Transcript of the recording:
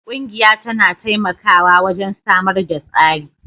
Ƙungiya tana taimakawa wajen samar da tsari